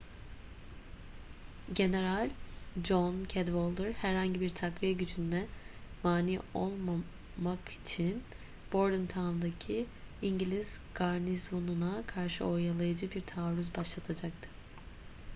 general john cadwalder herhangi bir takviye gücününe mani olmak için bordentown'daki i̇ngiliz garnizonuna karşı oyalayıcı bir taarruz başlatacaktı